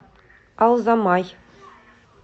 алзамай